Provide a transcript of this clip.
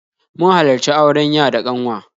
Mun halarci auren ya da ƙanwa